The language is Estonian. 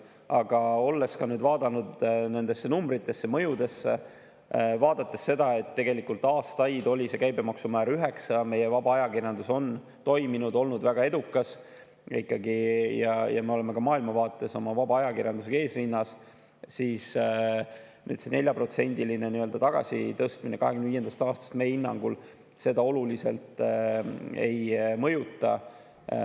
Aga olles ka nüüd vaadanud neid numbreid, mõjusid ja näinud seda, et tegelikult aastaid oli see käibemaksumäär 9% ja meie vaba ajakirjandus on toiminud, olnud ikkagi väga edukas, ja me oleme maailma vaates oma vaba ajakirjandusega eesrinnas, võib öelda, et see 4% võrra nii‑öelda tagasitõstmine 2025. aastast meie hinnangul seda oluliselt ei mõjuta.